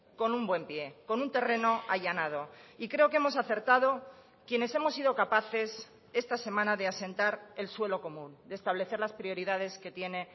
con un buen pie con un terreno allanado y creo que hemos acertado quienes hemos sido capaces esta semana de asentar el suelo común de establecer las prioridades que tiene